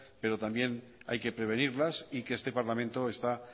pero también hay que prevenirlas y que este parlamento está